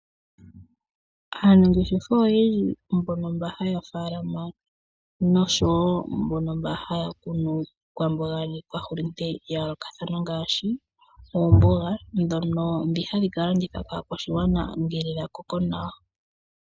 Aanangeshefa oyendji mbono haya faalama naambono haya kunu iikwamboga niikwa hulunde ya yoolokathana ngaashi oomboga ndhono ndhi hadhi ka landithwa kaakwashigwana ngele ya koko nawa.